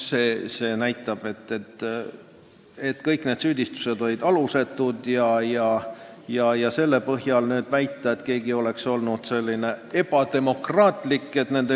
See näitab, et kõik need süüdistused olid alusetud, ja pole õige väita, et nende liikumine oli ebademokraatlik.